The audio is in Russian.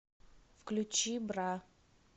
включи бра